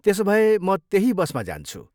त्यसोभए म त्यही बसमा जान्छु।